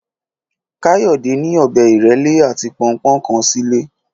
Káyọ̀dé ní ọ̀bẹ ìrẹ́lé àti pọnpọ́n kan sílé